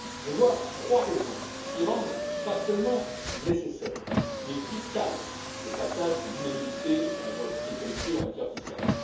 Je vois trois raisons qui rendent, non seulement nécessaire, mais vital, le passage de l'unanimité à la majorité qualifiée en matière fiscale.